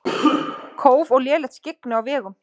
Kóf og lélegt skyggni á vegum